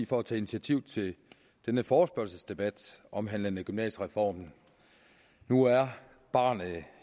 for at tage initiativ til denne forespørgselsdebat omhandlende gymnasiereformen nu er barnet